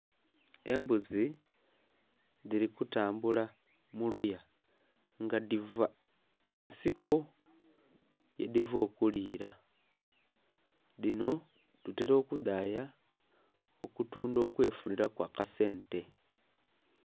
Embuzi dhiri kutambula muluya nga dhiva munsiko ye dhiva okulira dhino batera okudhaya okutundha okwefunira ku akasenta.